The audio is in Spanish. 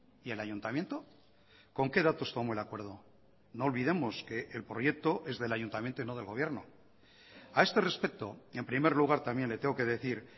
y el ayuntamiento con qué datos tomó el acuerdo no olvidemos que el proyecto es del ayuntamiento y no del gobierno a este respecto en primer lugar también le tengo que decir